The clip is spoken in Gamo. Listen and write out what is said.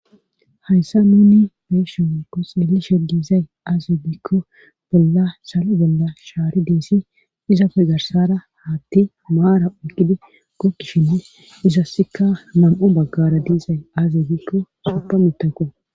Hayssa nuuni be'ishe woykko xeelishe diizay aaze gikko bolla salo bolla shaari deessi. Izappe garsara haatti maara oyiqqidi gogishine izassikka nam'u baggara diiza aze gikko soppa mittako.